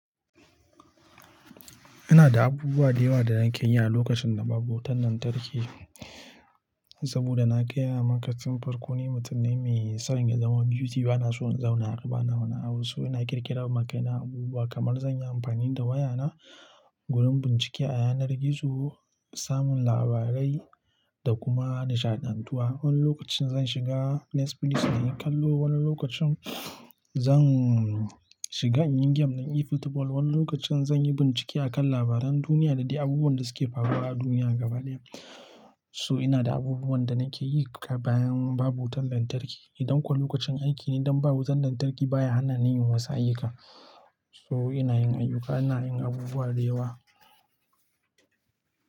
Ina da abubuwa da yawa da nake yi a lokacin da babu wutan lantarki, saboda na gaya maka farko. Ni mutum ne mai son ya zama busy, bana son in zauna a haka, bana wani abu. So ina ƙirƙirawa kaina abubuwa kamar zan yi amfani da wayana, gurin bincike a yanar gizo, samun labarai da kuma nishaɗantuwa. Wani lokacin zan shiga Netflix nayi kallo, wani lokacin zan shiga in yi game na eFootball, wani lokacin zan yi bincike a kan labaran duniya da dai abubuwan da suke faruwa a duniya gaba ɗaya. So ina da abubuwan da nake yi bayan babu wutan lantarki. Idan kuwa lokacin aiki ne don babu wutan lantarki baya hana ni yin wasu ayyuka. So ina yin ayyuka, ina yin abubuwa da yawa.